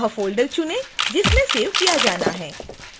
वह फ़ोल्डर चुनें जिसमें सेव किया जाना है